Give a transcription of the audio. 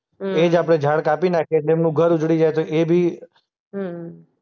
હમ્મ. એજ આપણે ઝાડ કાપી નાંખીએ એટલે એમનું ઉજળી જાય તો એ બી હમ્મ